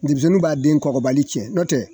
Dimisɛnnin b'a den kɔkɔbali cɛ n'o tɛ